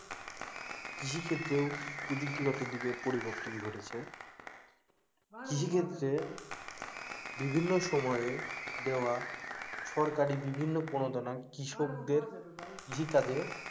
কৃষিক্ষেত্রেও প্রযুক্তিগত দিকে পরিবর্তন ঘটেছে কৃষিক্ষেত্রে বিভিন্ন সময়ে দেওয়া সরকারি বিভিন্ন প্রণোদনা কৃষকদের কৃষিকাজে,